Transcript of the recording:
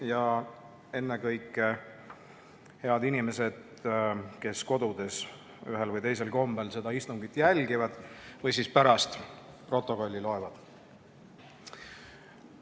Ja ennekõike head inimesed, kes kodudes ühel või teisel kombel seda istungit jälgivad või pärast protokolli loevad!